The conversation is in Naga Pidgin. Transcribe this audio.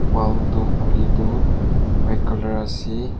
wall tu khuli tu white colour ase.